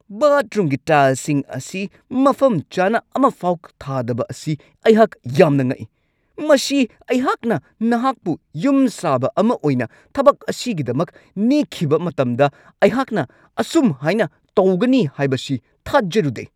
ꯕꯥꯊꯔꯨꯝꯒꯤ ꯇꯥꯏꯜꯁꯤꯡ ꯑꯁꯤ ꯃꯐꯝ ꯆꯥꯅ ꯑꯃꯐꯥꯎ ꯊꯥꯗꯕ ꯑꯁꯤ ꯑꯩꯍꯥꯛ ꯌꯥꯝꯅ ꯉꯛꯏ ! ꯃꯁꯤ ꯑꯩꯍꯥꯛꯅ ꯅꯍꯥꯛꯄꯨ ꯌꯨꯝꯁꯥꯕ ꯑꯃ ꯑꯣꯏꯅ ꯊꯕꯛ ꯑꯁꯤꯒꯤꯗꯃꯛ ꯅꯦꯛꯈꯤꯕ ꯃꯇꯝꯗ ꯑꯩꯍꯥꯛꯅ ꯑꯁꯨꯝꯍꯥꯏꯅ ꯇꯧꯒꯅꯤ ꯍꯥꯏꯕꯁꯤ ꯊꯥꯖꯔꯨꯗꯦ ꯫